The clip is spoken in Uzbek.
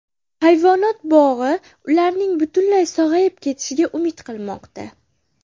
Hayvonot bog‘i ularning butunlay sog‘ayib ketishiga umid qilmoqda.